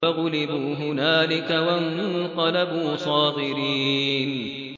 فَغُلِبُوا هُنَالِكَ وَانقَلَبُوا صَاغِرِينَ